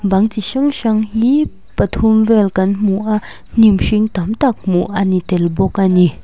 bang chi hrang hrang hi pathum vel kan hmu a hnim hring tam tak hmuh a ni tel bawk a ni.